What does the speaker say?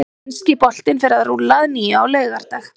Enski boltinn fer að rúlla að nýju á laugardag.